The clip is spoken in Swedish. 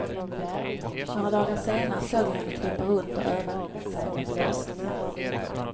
Några dagar senare såg jag henne krypa runt och öva sig med blåsningar.